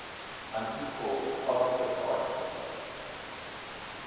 unequal positive odd